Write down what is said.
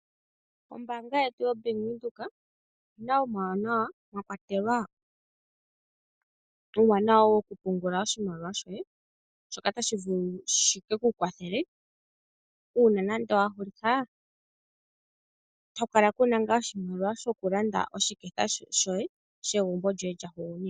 Ombaanga yetu yoBank Windhoek oyi na omauwanawa mwa kwatelwa uuwanawa wokupungula oshimawliwa shoye, shoka tashi vulu oku ka kwathela uuna wa hulitha, otapu kala pu na oshimaliwa shokulanda oshiketha shegumbo lyoye lya hugunina.